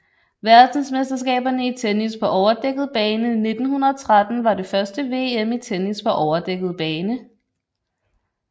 Verdensmesterskaberne i tennis på overdækket bane 1913 var det første VM i tennis på overdækket bane